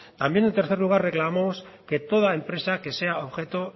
también en tercer lugar reclamamos que toda empresa que sea objeto